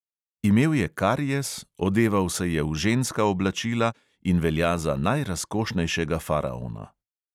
Imel je karies, odeval se je v ženska oblačila in velja za najrazkošnejšega faraona.